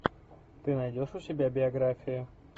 ты найдешь у себя биографию